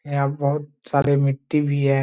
यहाँ बहुत सारे मिट्टी भी है।